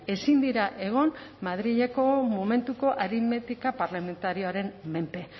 ezin dira egon madrileko momentuko aritmetika parlamentarioaren menpe